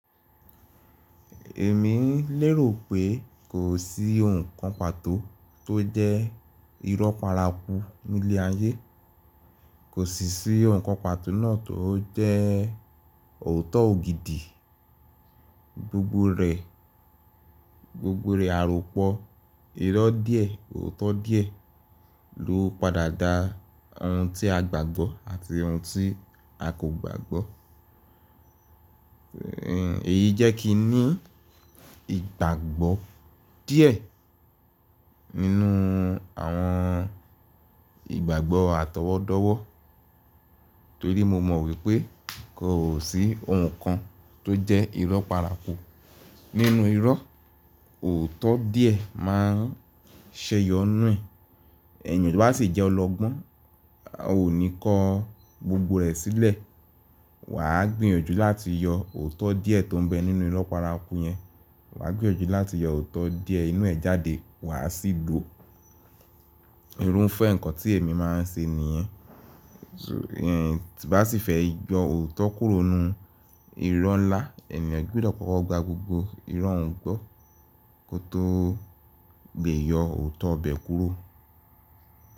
Èmi ń lérò pé kò sí ohun kan pàtó tó jẹ́ irọ́ paraku ní ilé ayé. Kò sì sí ohun kan pàtó náà tó jẹ́ ọ̀tọ̀ ògidì. Gbogbo rẹ̀, gbogbo rẹ̀ àròpọ́, irọ́ díẹ̀, ọ̀tọ̀ díẹ̀ ló padà dá ohun tí a gbàgbọ́ àti ohun tí a kò gbàgbọ́. Èyí jẹ́ kí n ní ìgbàgbọ́ díẹ̀ nínú àwọn ìgbàgbọ́ àtọwọ́dọ́wọ́ torí mo mọ̀ wípé kò sí ohun kan tó jẹ́ irọ́ paraku. Nínú irọ́, ọ̀tọ̀ díẹ̀ má ń ṣẹyọ nùe. Ẹeyan tó bá sì jẹ́ ọlọgbọ́n, a ò ní kó gbogbo rẹ̀ sílẹ̀. Wà á gbìyànjú láti yọ ọ̀tọ̀ díẹ̀ tó ń bẹ nínú irọ́ parapu yẹn. Wà á gbìyànjú láti yọ ọ̀tọ̀ díẹ̀ inú ẹ̀ jáde, wà á sì lò ó. Irun fẹ́ nǹkan tí èmi máa ń ṣe nìyẹn. Bá sì fẹ́ yọ ọ̀tọ̀ kúrò nínú irọ́ ńlá, ènìyàn gbọdọ̀ kọ́kọ́ gba gbogbo irọ́ òuń gbọ́ kó tó lè yọ ọ̀tọ̀ bẹ̀ kúrò.